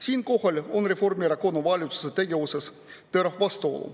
Siinkohal on Reformierakonna valitsuse tegevuses terav vastuolu.